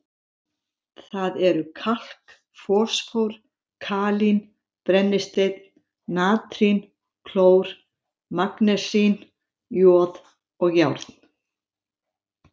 Það eru kalk, fosfór, kalín, brennisteinn, natrín, klór, magnesín, joð og járn.